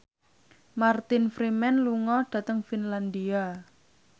Martin Freeman lunga dhateng Finlandia